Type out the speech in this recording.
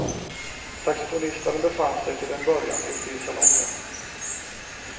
Saxofonisterna befann sig till en början ute i salongen.